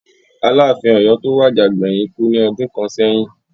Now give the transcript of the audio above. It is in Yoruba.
Aláàfin Ọ̀yọ́ tó wà àjà gbẹ̀yìn kú ní ọdún kàn sẹ́yìn